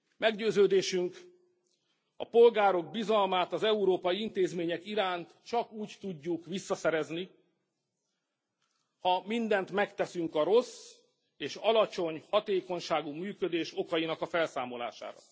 Meggyőződésünk, a polgárok bizalmát az európai intézmények iránt csak úgy tudjuk visszaszerezni, ha mindent megteszünk a rossz és alacsony hatékonyságú működés okainak a felszámolására.